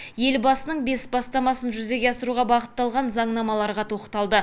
елбасының бес бастамасын жүзеге асыруға бағытталған заңнамаларға тоқталды